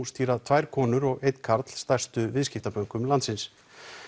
stýra tvær konur og einn karl stærstu viðskiptabönkum landsins